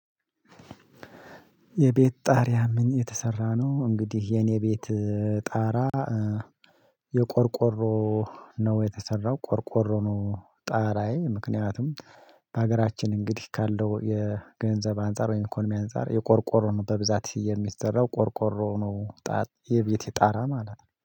የቤት ጣሪያ ምን የተሰራ ነው? እንግዲህ የኔ ቤት ጣራ የቆርቆሮ ነው የተሰራው ቆርቆሮ ነው። ጣራዬ ምክንያቱም በሀገራችን እንግዲህ ካለው የገንዘብ አንፃር ወይም ኢኮኖሚ አንፃር የቆርቆሮ ነው በብዛት የሚሰራው ቆርቆሮ ነው። ጣት የቤቴ ጣራ ማለት ነው